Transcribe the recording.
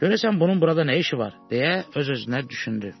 Görəsən bunun burada nə işi var, deyə öz-özünə düşündü.